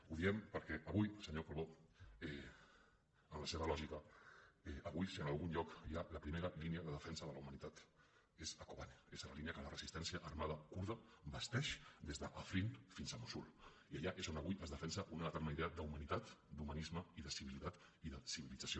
ho diem perquè avui senyor calbó en la seva lògica avui si en algun lloc hi ha la primera línia de defensa de la humanitat és a kobane és a la línia que la resistència armada kurda basteix des d’afrin fins a mossul i allà és on avui es defensa una determinada idea d’humanitat d’humanisme i de civilitat i de civilització